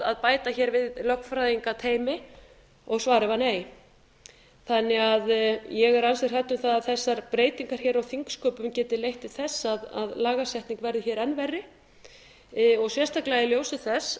að bæta hér við lögfræðingateymi og svarið var nei ég er því ansi hrædd um það að þessar breytingar hér á þingsköpum geti leitt til þess að lagasetning verði hér enn verri og sérstaklega í ljósi þess